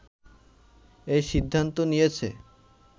এ সিদ্ধান্ত নিয়েছে